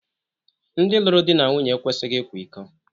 Ndị lụrụ di na nwunye ekwesịghị ịkwa iko